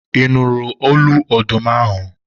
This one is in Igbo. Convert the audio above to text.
ị nụrụ olu ọdụm ahụ?